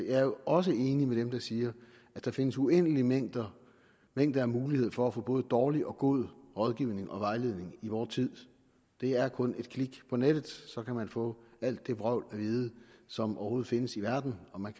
jeg er jo også enig med dem der siger at der findes uendelige mængder mængder af muligheder for at få både dårlig og god rådgivning og vejledning i vor tid det er kun et klik på nettet så kan man få alt det vrøvl at vide som overhovedet findes i verden og man